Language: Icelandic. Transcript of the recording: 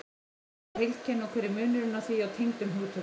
Hvað er heilkenni og hver er munurinn á því og tengdum hugtökum?